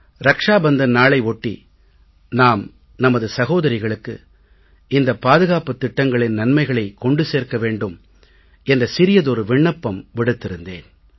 ரக்ஷா பந்தன் நாளை ஒட்டி நாம் நமது சகோதரிகளுக்கு இந்த பாதுகாப்புத் திட்டங்களின் நன்மைகளைக் கொண்டு சேர்க்க வேண்டும் என்ற சிறியதொரு விண்ணப்பம் விடுத்திருந்தேன்